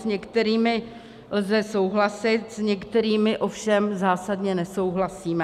S některými lze souhlasit, s některými ovšem zásadně nesouhlasíme.